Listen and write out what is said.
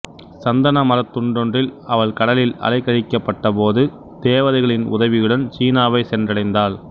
சந்தனமரத் துண்டொன்றில் அவள் கடலில் அலைக்கழிக்கப்பட்டபோது தேவதைகளின் உதவியுடன் சீனாவைச் சென்றடைந்தாள்